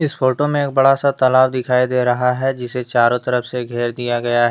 इस फोटो मे एक बड़ा सा तालाब दिखाई दे रहा है जिसे चारों तरफ से घेर दिया गया है।